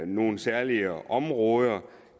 nogle særlige områder